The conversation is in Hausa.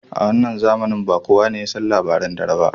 A wannan zamanin ba kuwa ne yasan labaran dare ba.